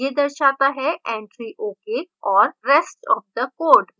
यह दर्शाता है entry ok और rest of the code